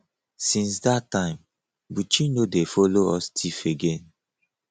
since dat time buchi no dey follow us thief again